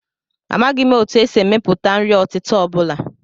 Amaghị m etu e si emepụta nri ọtịta ọ bụla